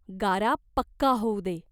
गारा पक्का होऊ दे.